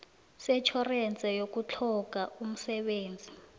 setjhorense yokutlhoga umsebenzi